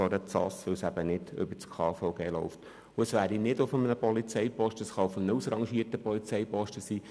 Es muss nicht auf einem Polizeiposten stattfinden, es kann auch ein ausrangierter Polizeiposten sein.